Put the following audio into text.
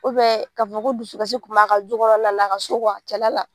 ka fɔ ko dusukasi kun b'a kan du kɔnɔna na a ka so cɛla la.